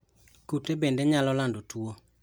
Kute bende nyalo lando tuwo.